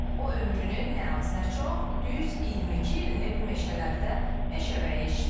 O ömrünün nə az, nə çox, düz 22 ilini bu meşələrdə meşəbəyi işləyib.